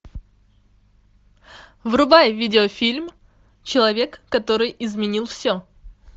врубай видеофильм человек который изменил все